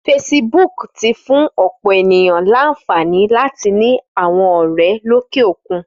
Fésibúk ti fún òpò éniyàn lànfání làtí ni áwòn òrè lóké ókún